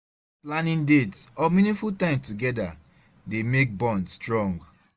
Planning dates or meaningful time together dey make bond strong